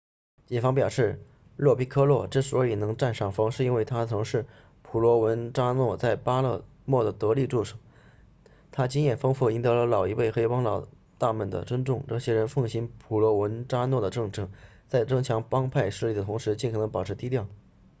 警方表示洛皮科洛之所以能占上风是因为他曾是普罗文扎诺在巴勒莫的得力助手他经验丰富赢得了老一辈黑帮老大们的尊重这些人奉行普罗文扎诺的政策在增强帮派势力的同时尽可能保持低调